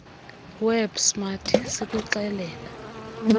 web smart sikuxelela